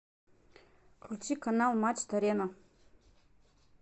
включи канал матч арена